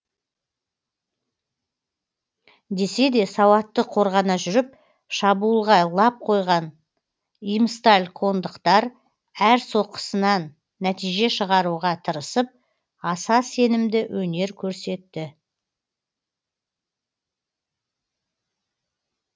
десе де сауатты қорғана жүріп шабуылға лап қойған имсталькондықтар әр соққысынан нәтиже шығаруға тырысып аса сенімді өнер көрсетті